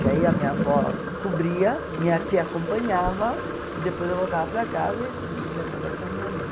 Que aí a minha avó cobria, minha tia acompanhava, e depois eu voltava para casa e não dizia nada para a minha mãe.